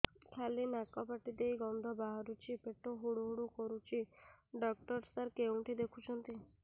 ଖାଲି ନାକ ପାଟି ଦେଇ ଗଂଧ ବାହାରୁଛି ପେଟ ହୁଡ଼ୁ ହୁଡ଼ୁ କରୁଛି ଡକ୍ଟର ସାର କେଉଁଠି ଦେଖୁଛନ୍ତ